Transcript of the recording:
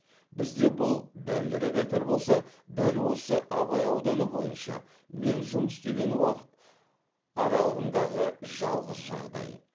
бізде бұл дәлірек айтар болсақ дәл осы абай ауданы бойынша мен жұмыс істеген уақыт аралығындағы жалғыз жағдай